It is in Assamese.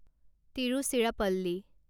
তিৰুচিৰাপল্লী